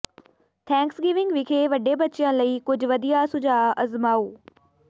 Thanksgiving ਵਿਖੇ ਵੱਡੇ ਬੱਚਿਆਂ ਲਈ ਕੁਝ ਵਧੀਆ ਸੁਝਾਅ ਅਜ਼ਮਾਓ